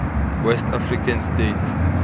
west african states